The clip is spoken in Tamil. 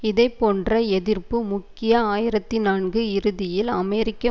இதேபோன்ற எதிர்ப்பு முக்கிய ஆயிரத்தி நான்கு இறுதியில் அமெரிக்க